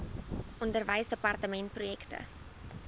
onderwysdepartementprojekte